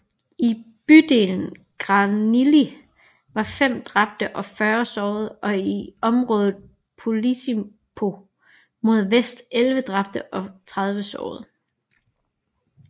I bydelen Granili var 5 dræbte og 40 sårede og i området Posillipo mod vest 11 dræbte og 30 sårede